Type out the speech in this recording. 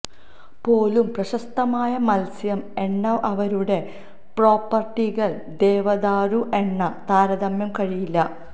പോലും പ്രശസ്തമായ മത്സ്യം എണ്ണ അവരുടെ പ്രോപ്പർട്ടികൾ ദേവദാരു എണ്ണ താരതമ്യം കഴിയില്ല